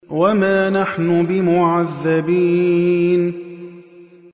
وَمَا نَحْنُ بِمُعَذَّبِينَ